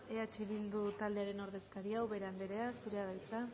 eh bildu taldearen ordezkaria ubera anderea zurea da hitza